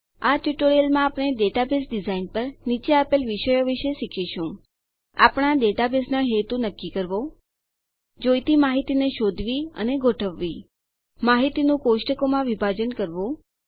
આ ટ્યુટોરીયલમાં આપણે ડેટાબેઝ ડીઝાઇન પર નીચે આપેલ વિષયો શીખીશું આપણા ડેટાબેઝનો હેતુ નક્કી કરવો જોઈતી માહિતીને શોધવી અને ગોઠવવી માહિતીનું કોષ્ટકોમાં વિભાજન કરવું